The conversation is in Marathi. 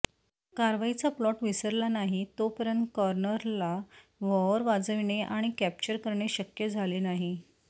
कारवाईचा प्लॉट विसरला नाही तोपर्यंत कॉर्नरला व्हॉअर वाजविणे आणि कॅप्चर करणे शक्य झाले नाही